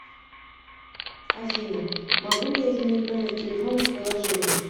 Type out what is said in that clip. афина могу ли я изменить номер телефона в приложении